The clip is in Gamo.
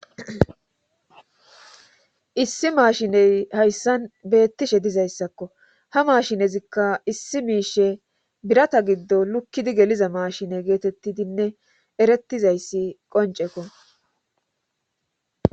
issi maashiney hayssan beettishe dizayssakko ha maashinezikka issi miishe birata giddo lukkidi geliza maashine geetettidinne erettizayssi qonceko